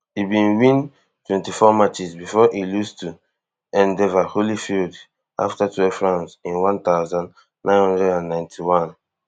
e bin win twenty-four matches bifor e lose to evander holyfield afta twelve rounds in one thousand, nine hundred and ninety-one